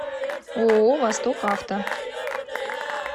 ооо восток авто